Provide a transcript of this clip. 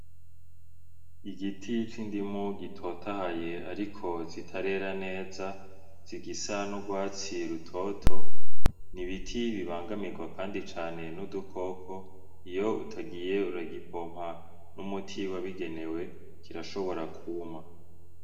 Igiti c’indimu gitotahaye ariko zitarera neza zigisa n’urwatsi rutoto , n’ibiti bibangamirwa kandi cane n’udukoko iyo utagiye uragipompa umuti wabigenewe kirashobora kwuma.